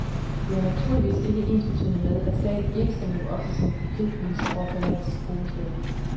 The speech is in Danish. Det er naturligvis ikke ensbetydende med, at staten ikke skal leve op til sine forpligtelser over for landets hovedstad.